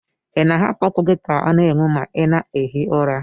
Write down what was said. Ị na-ahapụ ọkụ gị ka ọ na-enwu ma ị na-ehi ụra?